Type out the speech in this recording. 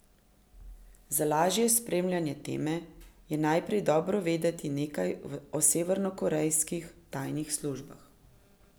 Za lažje spremljanje teme, je najprej dobro vedeti nekaj o severnokorejskih tajnih službah.